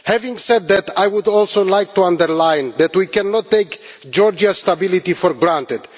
Having said that, I would also like to underline that we cannot take Georgia's stability for granted